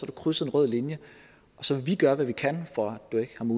du krydset en rød linje og så vil vi gøre hvad vi kan for